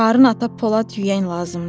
Harın ata Polad yüyən lazımdır.